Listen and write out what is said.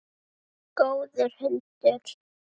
Góður hundur.